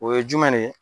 O ye jumɛn de ye